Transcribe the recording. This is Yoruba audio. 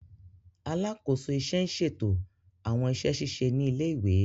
Alakoso iṣẹ n ṣeto awọn iṣẹ ṣiṣe ni ile-iwe.